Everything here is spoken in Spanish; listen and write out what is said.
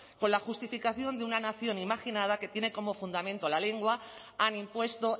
con la justificación de una nación imaginada que tiene como fundamento la lengua han impuesto